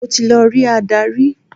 Mo ti lọ rí adarí.